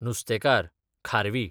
नुस्तेकार, खारवी